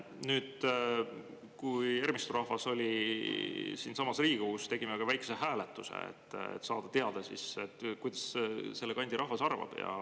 Kui Ermistu rahvas oli siinsamas Riigikogus, siis me tegime ka väikese hääletuse, et saada teada, mis selle kandi rahvas arvab.